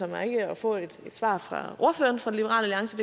mig ikke at få et svar fra ordføreren for liberal alliance